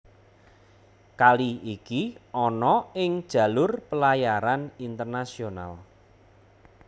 Kali iki ana ing jalur pelayaran internasional